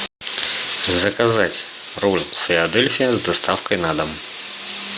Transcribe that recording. заказать ролл филадельфия с доставкой на дом